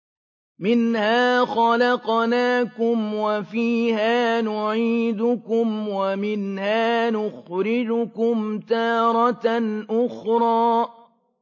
۞ مِنْهَا خَلَقْنَاكُمْ وَفِيهَا نُعِيدُكُمْ وَمِنْهَا نُخْرِجُكُمْ تَارَةً أُخْرَىٰ